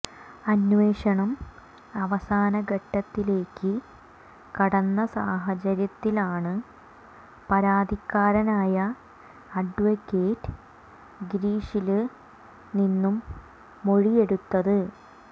അന്വേഷണം അവസാനഘട്ടത്തിലേക്ക് കടന്ന സാഹചര്യത്തിലാണ് പരാതിക്കാരനായ അഡ്വക്കേറ്റ് ഗിരീഷില് നിന്നും മൊഴിയെടുത്തത്